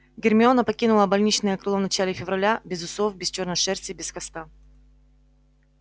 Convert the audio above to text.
гермиона покинула больничное крыло в начале февраля без усов без чёрной шерсти и без хвоста